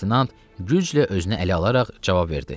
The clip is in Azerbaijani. Ober leytenant güclə özünü ələ alaraq cavab verdi.